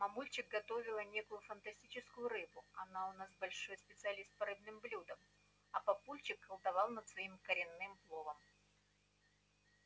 мамульчик готовила некую фантастическую рыбу она у нас большой специалист по рыбным блюдам а папульчик колдовал над своим коронным пловом